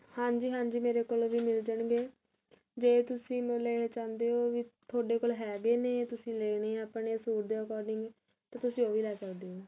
ਹਾਂਜੀ ਹਾਂਜੀ ਮੇਰੇ ਕੋਲ ਵੀ ਮਿਲ ਜਾਣਗੇ ਜੇ ਤੁਸੀਂ ਮਤਲਬ ਲੈਣਾ ਚਾਹੁੰਦੇ ਓ ਵੀ ਤੁਹਾਡੇ ਕੋਲ ਹੈਗੇ ਨੇ ਤੁਸੀਂ ਲੈਣੇ ਏ ਆਪਣੇ suite ਦੇ according ਤੇ ਤੁਸੀਂ ਉਹ ਵੀ ਲੈ ਸਕਦੇ ਓ